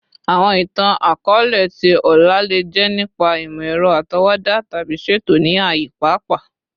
Awọn itan-akọọlẹ ti ọla le jẹ nipa imọ-ẹrọ atọwọda tabi ṣeto ni aaye paapaa